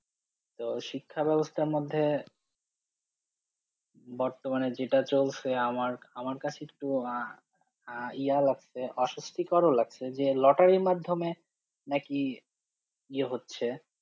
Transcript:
তো শিক্ষা ব্যবস্থার মধ্যে বর্তমানে যেটা চলছে আমার, আমার কাছে একটু আহ আহ ইয়া লাগছে, অস্বস্থিকরও লাগছে যে লটারির মাধ্যমে নাকি ইয়ে হচ্ছে।